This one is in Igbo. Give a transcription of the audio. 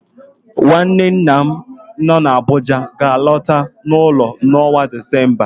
Nwanne nna m nọ n'Abuja ga-alọta n'ụlọ n'ọnwa Disemba